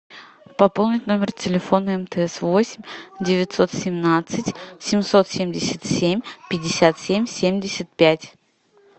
пополнить номер телефона мтс восемь девятьсот семнадцать семьсот семьдесят семь пятьдесят семь семьдесят пять